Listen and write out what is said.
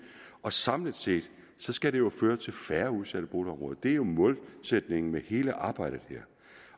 og samlet set skal det jo føre til færre udsatte boligområder det er jo målsætningen for hele arbejdet